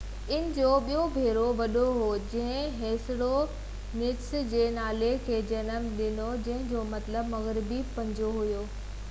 ان جو ٻيو پير وڏو هو جنهن هيسپرونيچس جي نالي کي جنم ڏنو جنهن جو مطلب مغربي پنجو آهي